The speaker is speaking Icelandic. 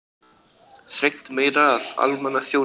Þrengt meira að almannaþjónustu